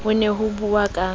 ho ne ho buuwa ka